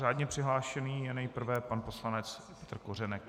Řádně přihlášený je nejprve pan poslanec Petr Kořenek.